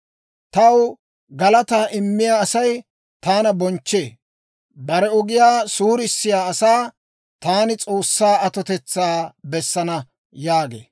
Taw galataa immiyaa Asay taana bonchchee. Bare ogiyaa suurissiyaa asaa taani S'oossaa atotetsaa bessana» yaagee.